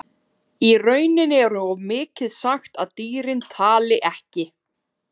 Í rauninni er of mikið sagt að dýrin tali ekki.